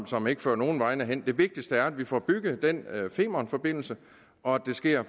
som ikke fører nogen vegne hen det vigtigste er at vi får bygget den femernforbindelse og at det sker